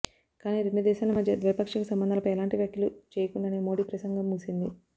కాని రెండు దేశాల మధ్య ద్వైపాక్షిక సంబంధాలపై ఎలాంటీ వ్యాఖ్యలు చేయకుండానే మోడీ ప్రసంగం ముగిసింది